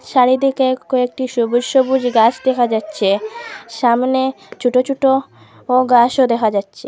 চারিদিকে কয়েকটি সবুজ সবুজ গাস দেখা যাচ্ছে সামনে চোটো চোটো ও গাসও দেখা যাচ্ছে।